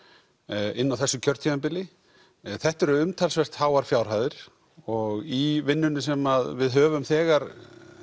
inni á þessu kjörtímabili þetta eru umtalsvert háar fjárhæðir og í vinnunni sem við höfum þegar